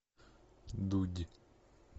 дудь